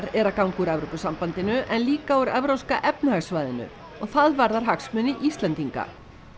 eru að ganga úr Evrópusambandinu en líka úr Evrópska efnahagssvæðinu og það varðar hagsmuni Íslendinga